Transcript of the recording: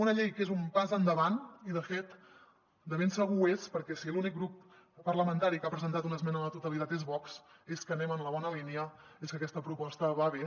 una llei que és un pas endavant i de fet de ben segur ho és perquè si l’únic grup parlamentari que ha presentat una esmena a la totalitat és vox és que anem en la bona línia és que aquesta proposta va bé